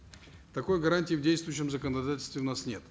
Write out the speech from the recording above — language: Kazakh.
такой гарантии в действующем законодательстве у нас нет